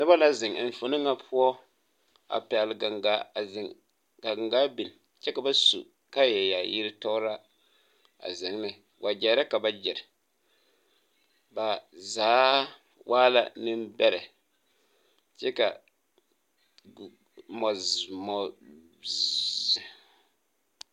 Nobɔ la zeŋ enfuone ŋa poɔ a pɛgle gaŋgaa a zeŋ kaa gaŋgaa biŋ kyɛ ka ba su kaayɛ yaayire tɔglaa zeŋ ne wagyɛre ka ba gyire ba zaa waa la neŋbɛrɛ kyɛ ka mɔzum.